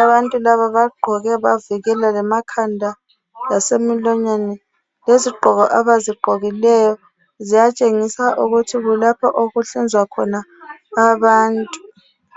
Abantu laba bagqoke bavikela lemakhanda lasemilonyeni. Lezigqoko abazigqokileyo ziyatshengisa ukuthi kulapho okuhlinzwa khona abantu.